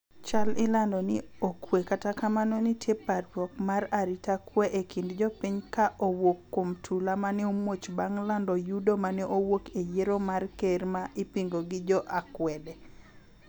chal ilando ni okwe kata kamano nitie parruok mar arita kwe e kind jopiny ka owuok kuom tula maneomuoch bang' lando yudo maneowuok e yiero mar ker ma ipingo gi jo akwede